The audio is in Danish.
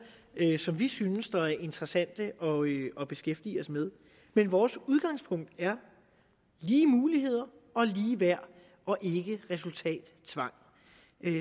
som vi synes er interessante at beskæftige os med men vores udgangspunkt er lige muligheder og ligeværd og ikke resultattvang